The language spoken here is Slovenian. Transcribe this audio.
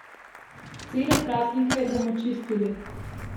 Cele praznike bomo čistili.